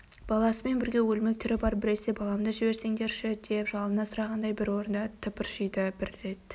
баласымен бірге өлмек түрі бар біресе баламды жіберсеңдерші деп жалына сұрағандай бір орында тыпыршиды бір рет